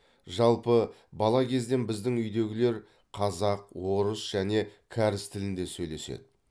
жалпы бала кезден біздің үйдегілер қазақ орыс және кәріс тілінде сөйлеседі